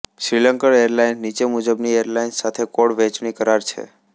Sri Lankan airlines નીચે મુજબની airlines સાથે કોડ વહેંચણી કરાર છે